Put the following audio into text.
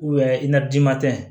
i na d'ima tɛ